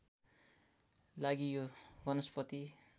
लागि यो वनस्पति